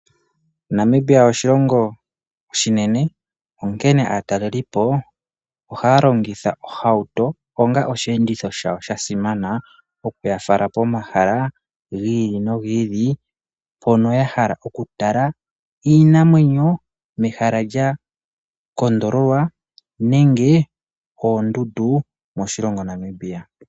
Namibia oshilongo oshinene, onkene aatalelipo ohaya longitha ohauto onga osheenditho shawo sha simana, okuyafala pomahala gi ili nogi ili, mpono ya hala oku tala iinamwenyo mehala lya kondololwa, nenge oondundu moshilongo Namibia.